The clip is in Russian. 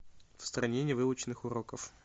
в стране невыученных уроков